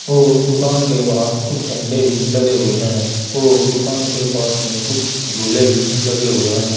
और दुकान के बाहर कुछ झंडे भी लगे हुए हैं और दुकान के पास में कुछ झूले भी लगे हुए हैं।